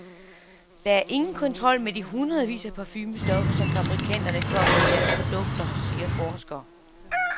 Der er ingen kontrol med de hundredvis af parfumestoffer, som fabrikanterne kommer i deres produkter, siger forsker.